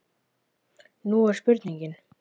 Nú er spurningin?